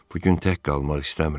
Bu gün tək qalmaq istəmirəm.